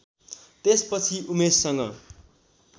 त्यसपछि उमेशसँग